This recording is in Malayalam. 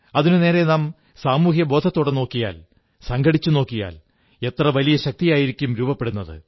അതിനുനേരെ നാം സാമൂഹ്യബോധത്തോടെ നോക്കിയാൽ സംഘടിച്ച് നോക്കിയാൽ എത്ര വലിയ ശക്തിയായിരിക്കും രൂപപ്പെടുന്നത്